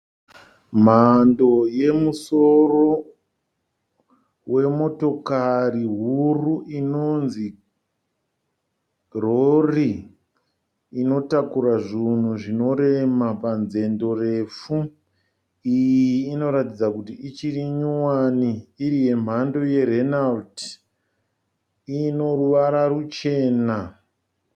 Mhando yemusoro wemotokari huru inonzi rori, inotakura zvinhu zvinorema panzendo refu. iyi inoratidza kuti ichiri nyowani iri yemhando yeRenalt ineruvara ruchena.